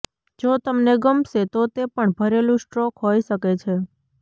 જો તમને ગમશે તો તે પણ ભરેલું સ્ટ્રોક હોઈ શકે છે